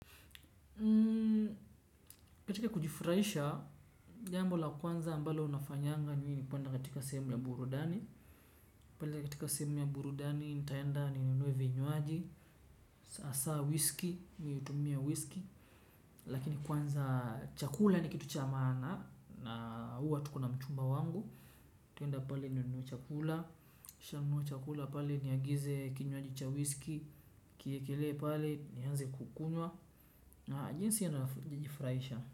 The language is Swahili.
Katika kujifurahisha, jambo la kwanza ambalo unafanyanga ni kuenda katika sehemu ya burudani. Kwanza katika sehemu ya burudani, nitaenda ninunue vinywaji, sasa whisky, mimi hutumia whisky. Lakini kwanza chakula ni kitu cha maana, na huwa tuko na mchumba wangu ntaenda pale ninunue chakula, nikisha nunua chakula pale niagize kinywaji cha whisky nikiekelee pale nianze kukunywa, na jinsi najifurahisha.